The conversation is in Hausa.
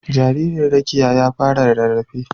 Jaririn Rekiya ya fara rarrafe.